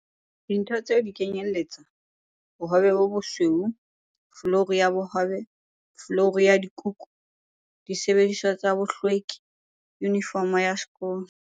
Dintho tseo di kenyelletsa- l Bohobe bo bosweu l Folouru ya bohobel Folouru ya dikukusil Disebediswa tsa bohlwekil Yunifomo ya sekolol